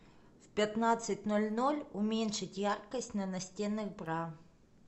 в пятнадцать ноль ноль уменьшить яркость на настенных бра